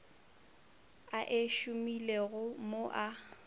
a e šomilego mo a